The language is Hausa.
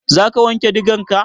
Za ka wanke digarka?